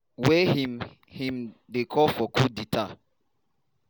wey im im dey call for “coup d’etàt”.